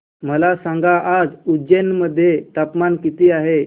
मला सांगा आज उज्जैन मध्ये तापमान किती आहे